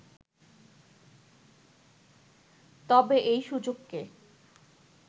তবে এই সূচককে